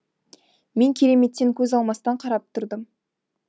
мен кереметтен көз алмастан қарап тұрдым